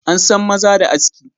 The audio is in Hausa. An san maza da aski.